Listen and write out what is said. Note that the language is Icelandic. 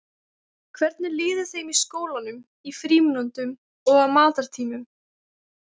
Hvernig líður þeim í skólanum, í frímínútum og á matartímum?